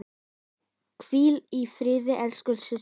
Hvíl í friði, elsku systir.